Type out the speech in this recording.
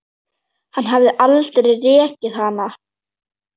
Hann hefði aldrei rekið hana.